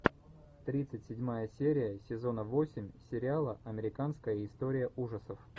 тридцать седьмая серия сезона восемь сериала американская история ужасов